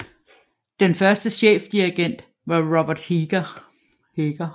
Den første chefdirigent var Robert Heger